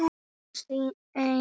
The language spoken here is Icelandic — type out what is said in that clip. Hún sýndi okkur húsið.